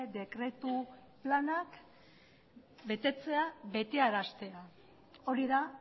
dekretu planak betetzea betearaztea hori da